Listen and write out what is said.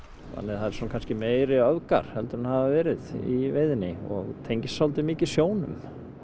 þannig að það eru kannski meiri öfgar heldur en hafa verið í veiðinni og tengist svolítið mikið sjónum